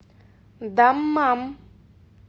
даммам